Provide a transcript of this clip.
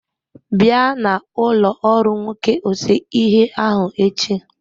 Bịa na ụlọ ọrụ nwoke ose ihe ahụ echi.